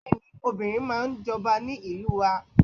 Bẹ́ẹ̀ni, obìnrin máa ń jọba ní ìlú wa.